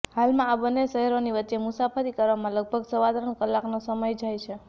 હાલમાં આ બંને શહેરોની વચ્ચે મુસાફરી કરવામાં લગભગ સવા ત્રણ કલાકનો સમય જાય છે